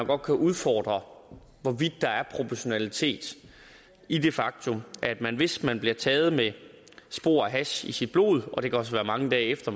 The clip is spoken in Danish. godt kan udfordre spørgsmålet hvorvidt der er proportionalitet i det faktum at man hvis man bliver taget med spor af hash i sit blod og det kan også være mange dage efter